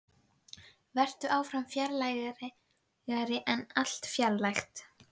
Vertu áfram fjarlægari en allt fjarlægt.